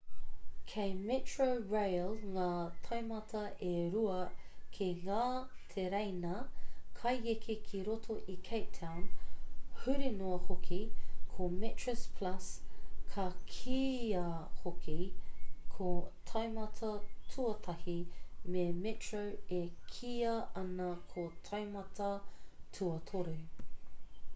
kei metrorail ngā taumata e rua ki ngā tereina kaieke ki roto i cape town huri noa hoki: ko metroplus ka kīia hoki ko taumata tuatahi me metro e kīia ana ko taumata tuatoru